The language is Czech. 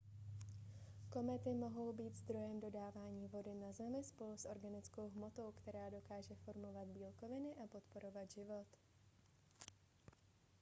komety mohou být zdrojem dodávání vody na zemi spolu s organickou hmotou která dokáže formovat bílkoviny a podporovat život